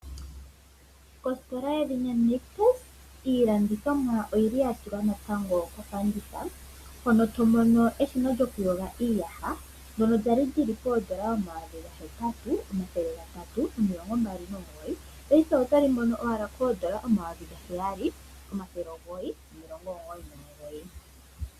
Ostola yedhina Nitus iilandithomwa oyili yatulwa kofanditha hono tomono eshina lyokuyoga iiyaha ndjono lyali lyili poodola 8 329 paife otoli mono owala koodola 7 999.